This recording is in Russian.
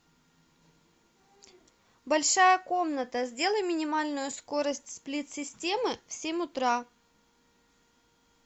большая комната сделай минимальную скорость сплит системы в семь утра